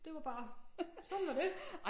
Det var bare sådan var det